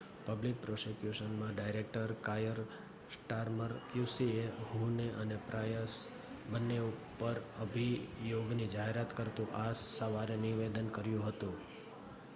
public પ્રોસીક્યુશનનાં director Keir Starmer QC એ Huhne અને પ્રાયસ બંને ઉપર અભિયોગની જાહેરાત કરતુ આ સવારે નિવેદન કર્યું હતું